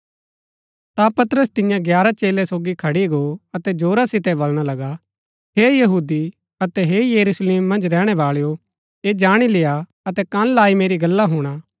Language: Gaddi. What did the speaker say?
ता पतरस तियां ग्यारह चेलै सोगी खड़ी गो अतै जोरा सितै बलणा लगा हे यहूदी अतै हे यरूशलेम मन्ज रैहणै बाळैओ ऐह जाणी लेय्आ अतै कन लाई मेरी गल्ला हुणा